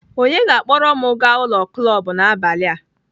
Onye ga-akpọrọ m gaa ụlọ klọb n'abalị a